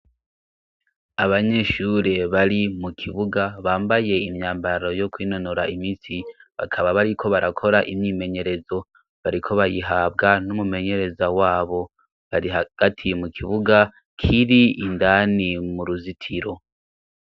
Abanyeshure bari mu kibuga bambaye imyambaro yo kwinonora imisi bakaba bariko barakora imyimenyerezo, bariko bayihabwa n'umumenyereza wabo bari hagati mu kibuga kiri indani mu ruzitiro.